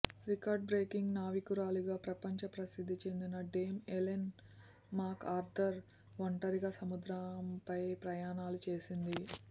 record breaking నావికురాలిగా ప్రపంచ ప్రసిద్ధి చెందిన డేమ్ ఎలెన్ మాక్ ఆర్థర్ ఒంటరిగా సముద్రంపై ప్రయాణాలు చేసింది